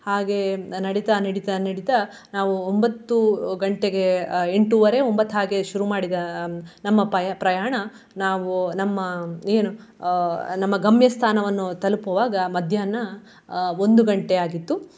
ಹಾಗೆ ನಡಿತಾ ನಡಿತಾ ನಡಿತಾ ನಾವು ಒಂಭತ್ತು ಗಂಟೆಗೆ ಎಂಟುವರೆ ಒಂಭತ್ತು ಹಾಗೆ ಶುರು ಮಾಡಿದ ಹ್ಮ್ ನಮ್ಮ ಪಯ~ ಪ್ರಯಾಣ ನಾವು ನಮ್ಮ ಏನು ಅಹ್ ನಮ್ಮ ಗಮ್ಯಸ್ಥಾನವನ್ನು ತಲುಪುವಾಗ ಮಧ್ಯಾಹ್ನ ಆ ಒಂದು ಗಂಟೆಯಾಗಿತ್ತು.